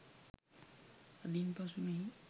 අදින් පසු මෙහි